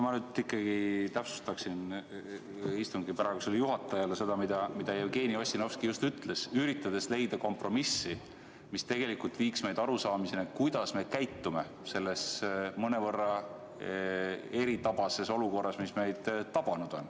Ma nüüd ikkagi täpsustaksin istungi praegusele juhatajale seda, mida Jevgeni Ossinovski ennist ütles, üritades leida kompromissi, mis viiks meid arusaamiseni, kuidas me peaksime käituma selles mõnevõrra eritabases olukorras, mis meid on tabanud.